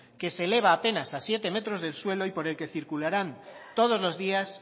que se eleva apenas a siete metros del suelo y por el que circularán todos los días